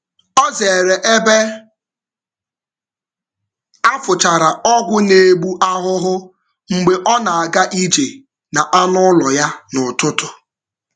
Ọ zere ebe a fụchara ọgwụ na-egbu ahụhụ na-egbu ahụhụ mgbe ọ na-aga ije na anụ ụlọ ya n’ụtụtụ.